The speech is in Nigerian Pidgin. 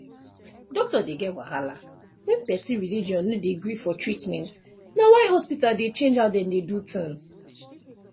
doctor dey get wahala when person religion no de gree for treatment na why hospital dey change how dem dey do things